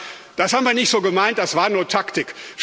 sagen Das haben wir nicht so gemeint, das war nur Taktik.